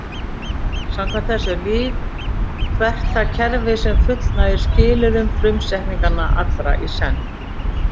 Samkvæmt þessu er líf hvert það kerfi sem fullnægir skilyrðum frumsetninganna, allra í senn.